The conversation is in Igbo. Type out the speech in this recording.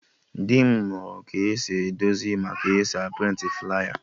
Dị m mụrụ ka esi edozi ma ka esi a prịntị flaya